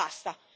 Ora basta!